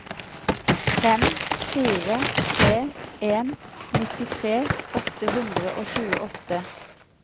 fem fire tre en nittitre åtte hundre og tjueåtte